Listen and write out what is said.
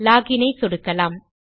login ஐ சொடுக்கலாம்